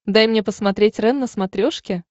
дай мне посмотреть рен на смотрешке